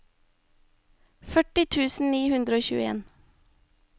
førti tusen ni hundre og tjueen